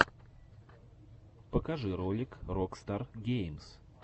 покажи ролик рокстар геймс